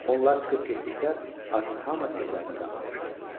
Onlar çıxıb getdikdə artıq hamı evlərinə dağılmışdı.